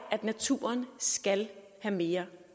at naturen skal have mere